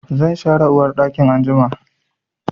Zan share uwarɗakin anjima.